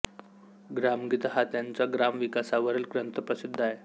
ग्रामगीता हा त्यांचा ग्राम विकासावरील ग्रंथ प्रसिद्ध आहे